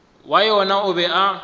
wa yona o be a